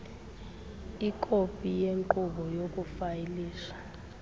ikopi yenkqubo yokufayilisha